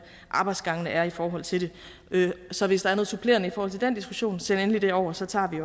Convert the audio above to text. arbejdsgangene er i forhold til det så hvis der er noget supplerende i forhold til den diskussion så send det endelig over så tager vi